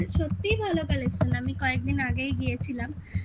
কিন্তু সত্যি ভালো কালেকশন. আমি কয়েকদিন আগেই গিয়েছিলাম